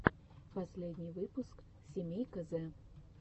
последний выпуск семейка зэ